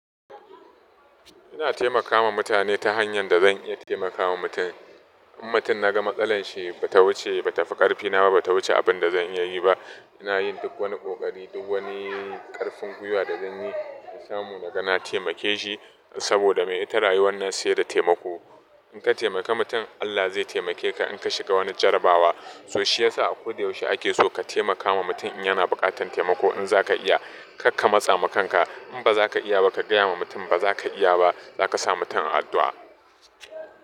Ina taimakawa mutane ta hanyar da zan iya taimakawa mutum. In mutum na ga matsalarshi ba ta wuce ba tafi karfina ba ta wuce abin da zan iya yi ba. Ina yin duk wani ƙoƙari, duk wani ƙarfin huyuwa da zan yi in samu, na ga na taimake shi. Saboda me ita rayuwar nan sai da taimako. In ka taimaka mutum Allah zai taimake ka in ka shiga wani jarabawa. So shi ya sa a kudu yaushe ake so ka taimakawa mutum in yana buƙatar taimako. In za ka iya kar ka matsa makanka. In ba za ka iya ba, ka gaya ma mutum ba za ka iya ba. Za ka samu ta addu'a.